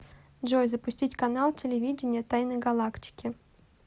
джой запустить канал телевидения тайны галактики